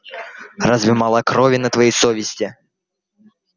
разве мало крови на твоей совести